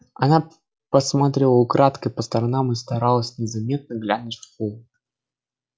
она посматривала украдкой по сторонам и старалась незаметно глянуть в холл